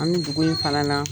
An bɛ dugu in fana na